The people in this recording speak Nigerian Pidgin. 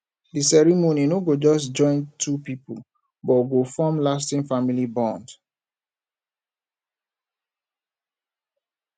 di ceremony no go just join two people but go form lasting family bond